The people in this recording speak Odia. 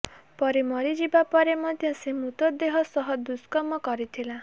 ପରୀ ମରିଯିବା ପରେ ମଧ୍ୟ ସେ ମୃତଦେହ ସହ ଦୁଷ୍କର୍ମ କରିଥିଲା